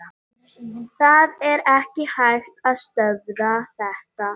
Það er ekki hægt að stöðva þetta.